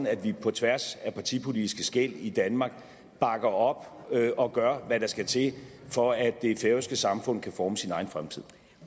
at vi på tværs af partipolitiske skel i danmark bakker op og gør hvad der skal til for at det færøske samfund kan forme sin egen fremtid